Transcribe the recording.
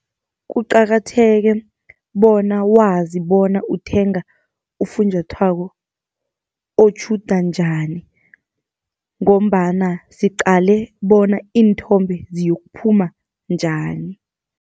Kuqakatheke bona wazi bona uthenga ufunjathwako otjhuda njani, ngombana siqale bona iinthombe ziyokuphuma njani.